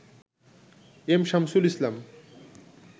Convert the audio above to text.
M Shamsul Islam